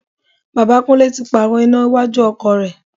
Bàbá Kúnlẹ́ tí pààrò iná iwájú ọkọ̀ rẹ̀.